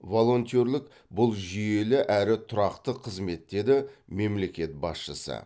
волонтерлік бұл жүйелі әрі тұрақты қызмет деді мемлекет басшысы